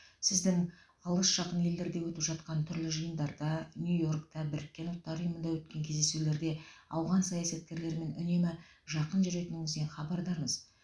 сіздің алыс жақын елдерде өтіп жатқан түрлі жиындарда нью йорктағы біріккен ұлттар ұйымында өткен кездесулерде ауған саясаткерлерімен үнемі жақын жүретініңізден хабардармыз